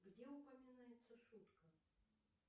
где упоминается шутка